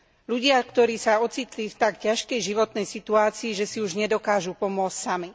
Ľudia, ktorí sa ocitli v tak ťažkej životnej situácii, že si už nedokážu pomôcť sami.